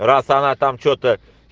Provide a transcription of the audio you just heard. раз она там что-то